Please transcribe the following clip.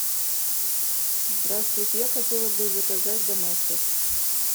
здравствуйте я хотела бы заказать доместос